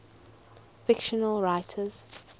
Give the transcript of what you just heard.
fictional writers